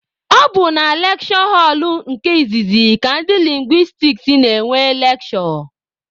Ọ bụ na lekshure họlụ nke izizi ka ndị lingwistiks na-enwe lekshure.